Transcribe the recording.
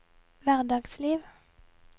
hverdagsliv